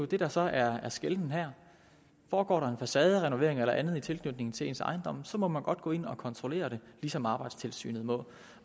det der så er forskellen her foregår der en facaderenovering eller andet i tilknytning til ens ejendom så må man godt gå ind og kontrollere det ligesom arbejdstilsynet må